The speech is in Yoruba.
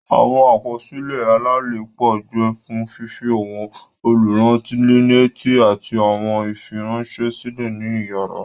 Awọn àkọsílẹ alalepo jẹ fún fifi awọn olurannileti ati awọn ifiranṣẹ silẹ ní iyàrá.